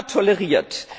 toleriert.